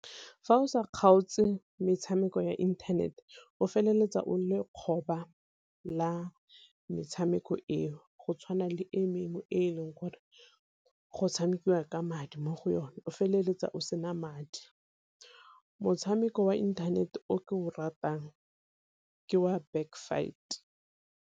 Fa o sa kgaotse metshameko ya inthanete o feleletsa o le lekgoba la metshameko eo, go tshwana le e mengwe e e leng gore go tshamekiwa ka madi mo go yone, o feleletsa o sena madi. Motshameko wa inthanete o ke o ratang ke wa Backfight.